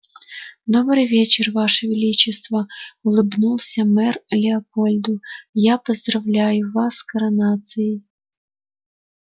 добрый вечер ваше величество улыбнулся мэр леопольду я поздравляю вас с коронацией